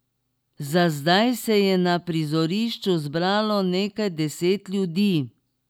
Za zdaj se je na prizorišču zbralo nekaj deset ljudi.